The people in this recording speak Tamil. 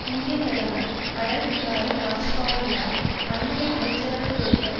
இந்திய பிரதமர் அடல்பிகாரி வாஜ்பாயியால் அண்மைய அமைச்சரவை துறைகள்